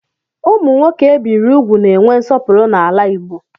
Ụmụ nwoke ebiri úgwù na-enwe nsọpụrụ n'ala Igbo.